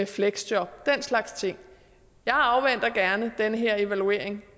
fleksjob den slags ting jeg afventer gerne den her evaluering